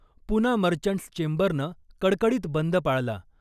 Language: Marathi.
पूना मर्चंट्स चेंबरनं कडकडीत बंद पाळला .